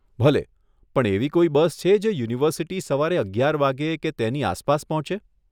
ભલે, પણ એવી કોઈ બસ છે જે યુનિવર્સીટી સવારે અગિયાર વાગ્યે કે તેની આસપાસ પહોંચે?